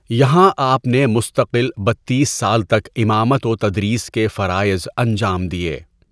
یہاں آپ نے مستقل بتیس سال تک امامت و تدریس کے فرائض انجام دیے.